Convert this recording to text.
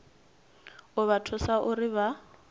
u vha thusa uri vha